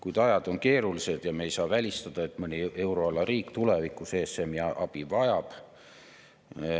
Kuid ajad on keerulised ja me ei saa välistada, et mõni euroala riik tulevikus ESM‑i abi vajab.